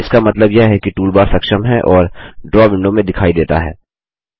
इसका मतलब यह है कि टूलबार सक्षम है और ड्रा विंडो में दिखाई देता है